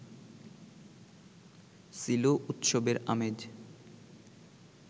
ছিল উৎসবের আমেজ